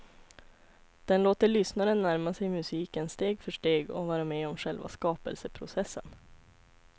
Den låter lyssnaren närma sig musiken steg för steg och vara med om själva skapelseprocessen.